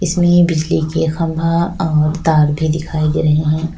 इसमें बिजली के खम्भा और तार भी दिखाई दे रहे है।